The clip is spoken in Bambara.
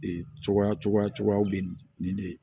Ee cogoya cogoya bɛ nin nin de ye